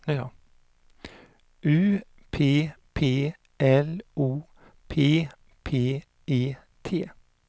U P P L O P P E T